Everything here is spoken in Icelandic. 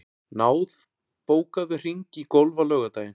Náð, bókaðu hring í golf á laugardaginn.